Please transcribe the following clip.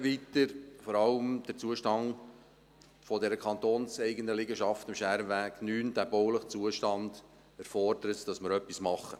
Vor allem der bauliche Zustand der kantonseigenen Liegenschaft am Schermenweg 9 erfordert, dass wir etwas machen.